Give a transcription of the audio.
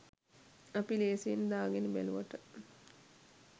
අපි ලේසියෙන් දාගෙන බැලුවට